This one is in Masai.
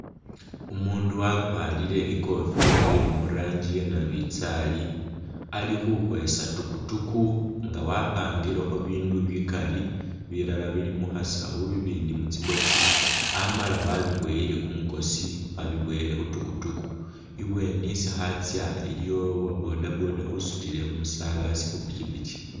Umundu wakwarire i'kofila ili mu rangi ya nabinzaali, ali khukhweesa tukutuku nga wapangilekho bindu bikali, bilala bili mu khasawu, bibindi mu tsi box amala wabiboyile kumukosi, wabiboyele khu tukutuku. Ibweeni isi khatsya iliwo uwa bodaboda usutile umusabasi khu pikipiki.